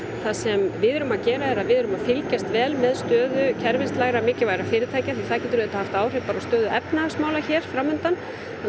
það sem við erum að gera er að við erum að fylgjast vel með stöðu kerfislegra mikilvægra fyrirtækja því það getur auðvitað haft áhrif á stöðu efnahagsmála hér fram undan